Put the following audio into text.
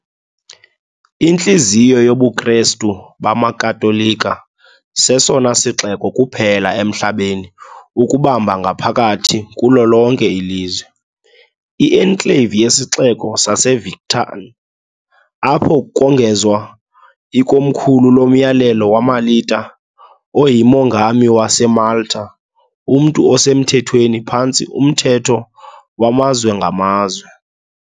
Intliziyo yobuKristu bamaKatolika, sesona sixeko kuphela emhlabeni ukubamba ngaphakathi kulo lonke ilizwe, i-enclave yeSixeko saseVictan, apho kongezwa ikomkhulu loMyalelo weMilita oyiMongami waseMalta, umntu osemthethweni phantsi umthetho wamazwe ngamazwe.